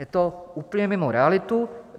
Je to úplně mimo realitu.